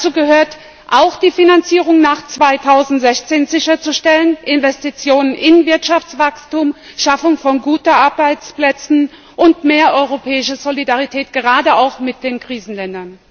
Dazu gehört es auch, die Finanzierung nach 2016 sicherzustellen, Investitionen in Wirtschaftswachstum, Schaffung von guten Arbeitsplätzen und mehr europäische Solidarität, gerade auch mit den Krisenländern.